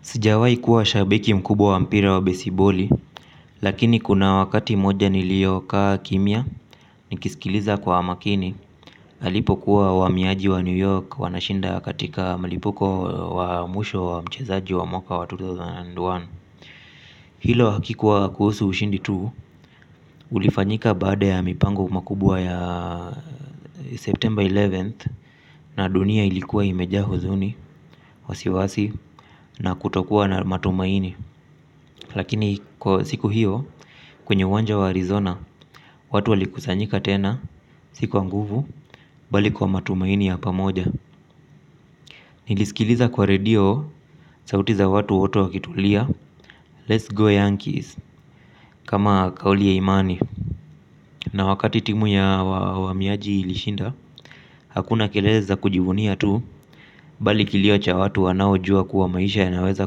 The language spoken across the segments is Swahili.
Sijawahi kuwa shabiki mkubwa wa mpira wa besiboli, lakini kuna wakati mmoja nilio kaa kimya, nikisikiliza kwa makini, alipo kuwa waamiaji wa New York wanashinda katika malipuko wa mwisho wa mchezaji wa mwaka wa elfu mbili na moja. Hilo haikuwa kuhusu ushindi tu, ulifanyika baada ya mipango mikubwa ya September 11th, na dunia ilikuwa imejaa huzuni, wasiwasi, na kutokuwa na matumaini. Lakini siku hiyo, kwenye uwanja wa Arizona, watu walikusanyika tena, si kwa nguvu, bali kwa matumaini ya pamoja. Nilisikiliza kwa radio, sauti za watu wote wakitulia, let's go Yankees, kama kauli ya imani. Na wakati timu ya waamiaji ilishinda, hakuna kelele za kujivunia tu, bali kilio cha watu wanao jua kuwa maisha yanaweza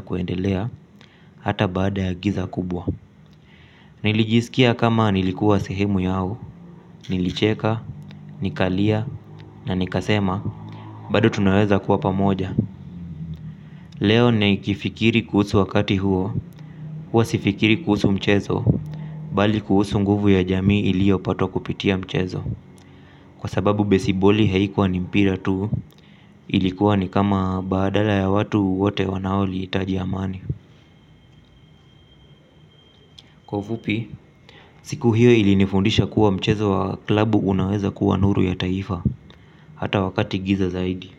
kuendelea, hata baada ya giza kubwa. Nilijisikia kama nilikuwa sehemu yao, nilicheka, nikalia, na nikasema, bado tunaweza kuwa pamoja. Leo nikifikiri kuhusu wakati huo, huwa sifikiri kuhusu mchezo, bali kuhusu nguvu ya jamii ilio patwa kupitia mchezo. Kwa sababu besiboli haikuwa ni mpira tu, ilikuwa ni kama badala ya watu wote wanaohitaji amani. Kwa ufupi, siku hio ilinifundisha kuwa mchezo wa klabu unaweza kuwa nuru ya taifa. Hata wakati giza zaidi.